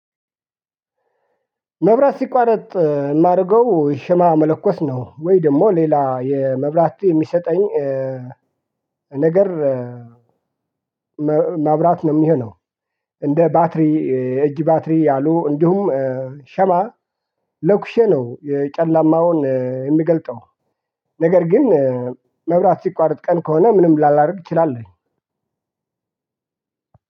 መብራት ሲቋረጥ ማረገው ሽማ መለኮስ ነው ወይ ደሞ ሌላ የመብራት የሚሰጠኝ ነገር ማብራት ነው የሚሆነው እንደ ባትሪ የእጅ ባትሪ ያሉ እንዲሁም ሻማ ለኩሼ ነው የጨለማውን የምገልጠው ነገር ግን መብራት ሲቋረጥ ቀን ከሆነ ምንም ላላደርግ እችላለሁኝ።